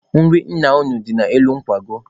Nri nna unu dị n'elu nkwago.